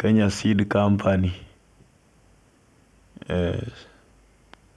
kenya seed company